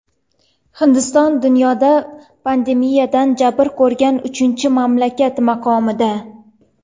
Hindiston dunyoda pandemiyadan jabr ko‘rgan uchinchi mamlakat maqomida.